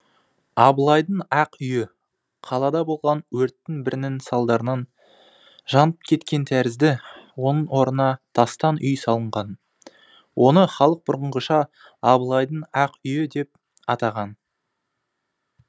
абылайдың ақ үйі қалада болған өрттің бірінің салдарынан жанып кеткен тәрізді оның орнына тастан үй салынған оны халық бұрынғыша абылайдың ақ үйі деп атаған